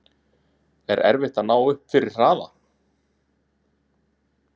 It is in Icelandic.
Er erfitt að ná upp fyrri hraða?